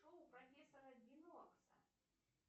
шоу профессора бинокса